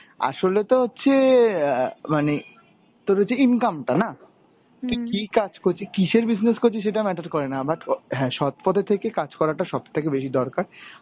আসলে তো হচ্ছে অ্যাঁ মানে তোর হচ্ছে income টা না? তুই কি কাজ করছিস কিসের business করছিস সেটা matter করে না but হ্যাঁ সৎপথে থেকে কাজ করাটা সবথেকে বেশি দরকার